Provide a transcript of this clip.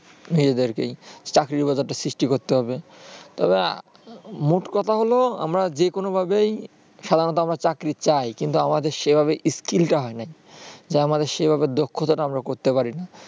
নিজেদের চাকরির বাজারটা সৃষ্টি করতে হবে তবে মোট কথা হল আমরা যেকোনো ভাবেই সাধারণত আমরা চাকরি চাই কিন্তু আমাদের সেভাবে skill টা হয় নাই যে আমাদের সেভাবে আমাদের দক্ষতাটা আমরা করতে পার না